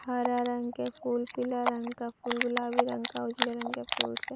हरा रंग के फूल पीले रंग का फूल गुलाबी रंग का उजले रंग के फूल से --